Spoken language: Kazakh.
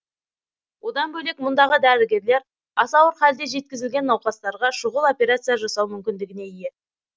одан бөлек мұндағы дәрігерлер аса ауыр халде жеткізілген науқастарға шұғыл операция жасау мүмкіндігіне ие